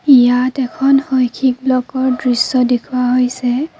ইয়াত এখন শৈক্ষিক ব্লকৰ দৃশ্য দেখুওৱা হৈছে।